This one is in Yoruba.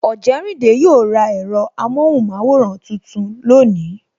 Ojerinde yo ra ẹ̀rọ amohunmaworan tuntun lónìí